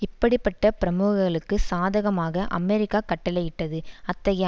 இப்படி பட்ட பிரமுகர்களுக்கு சாதகமாக அமெரிக்கா கட்டளையிட்டது அத்தகைய